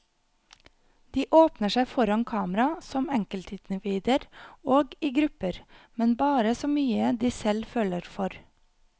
De åpner seg foran kamera som enkeltindivider og i grupper, men bare så mye de selv føler for.